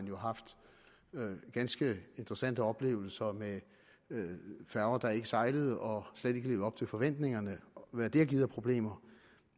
jo haft ganske interessante oplevelser med færger der ikke sejlede og slet ikke levede op til forventningerne og med alt hvad det har givet af problemer